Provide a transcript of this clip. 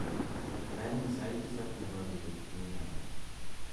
raini sait tisab nebo beet inam